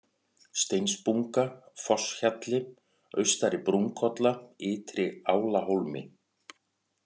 Steinsbunga, Fosshjalli, Austari-Brúnkolla, Ytri-Álahólmi